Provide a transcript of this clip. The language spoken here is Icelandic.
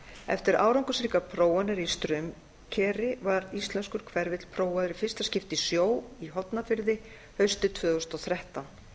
eftir árangursríkar prófanir í straumkeri var íslenskur hverfill prófaður í fyrsta skipti í sjó í hornafirði haustið tvö þúsund og þrettán